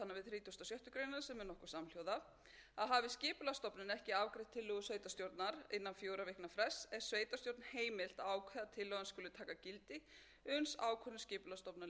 heimilt að ákveða að tillagan skuli taka gildi uns ákvörðun skipulagsstofnunar liggur fyrir og skal sveitarstjórn þá auglýsa hana í b deild